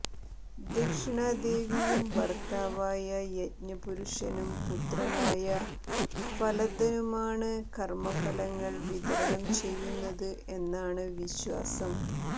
ദക്ഷിണാദേവിയും ഭർത്താവായ യജ്ഞപുരുഷനും പുത്രനായ ഫലദനുമാണ് കർമഫലങ്ങൾ വിതരണം ചെയ്യുന്നത് എന്നാണ് വിശ്വാസം